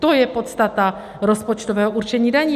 To je podstata rozpočtového určení daní.